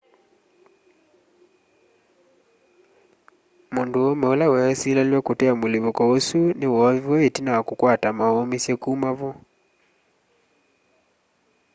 mũndũũme ũla wesĩlĩalw'a kũtea mũlĩpũko ũsũ nĩ woovĩwe ĩtina wa kũkwata maũmĩsye kũma vo